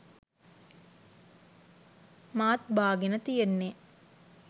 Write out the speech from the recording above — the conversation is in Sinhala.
මාත් බාගෙන තියෙන්නේ